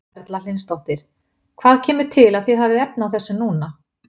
Erla Hlynsdóttir: Hvað kemur til að þið hafið efni á þessu núna?